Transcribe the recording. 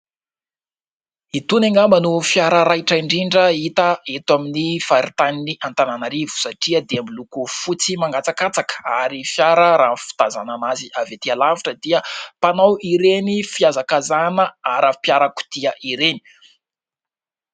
Itony angamba no fiara raitra indrindra hita eto amin'ny faritanin'ny Antaninarivo satria dia miloko fotsy mangatsakatsaka ary fiara fitazanana azy avy etỳ alavitra dia mpanao ireny fiazakazahana ara-piarakodia ireny.